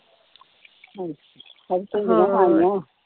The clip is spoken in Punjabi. ਅੱਜ ਭਿੰਡੀਆਂ ਖਾਣੀਆਂ ਵਾ।